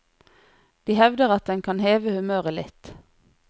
De hevder at den kan heve humøret litt.